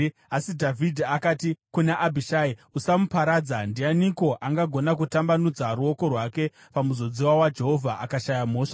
Asi Dhavhidhi akati kuna Abhishai, “Usamuparadza! Ndianiko angagona kutambanudza ruoko rwake pamuzodziwa waJehovha akashaya mhosva?